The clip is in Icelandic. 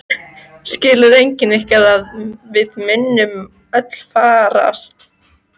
Skilur enginn ykkar að við munum öll farast?